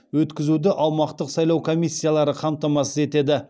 өткізуді аумақтық сайлау комиссиялары қамтамасыз етеді